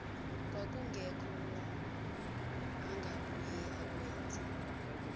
kwakungekho angabuye akwenze